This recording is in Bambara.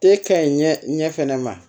E ka ɲi ɲɛ fɛnɛ ma